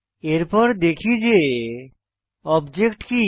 এরপর দেখি যে অবজেক্ট কি